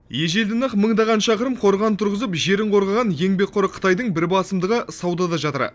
ежелден ақ мыңдаған шақырым қорған тұрғызып жерін қорғаған еңбекқор қытайдың бір басымдығы саудада жатыр